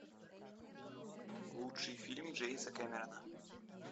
лучший фильм джеймса кемерона